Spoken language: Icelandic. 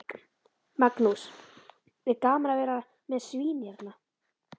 Magnús: Er gaman að vera með svín hérna?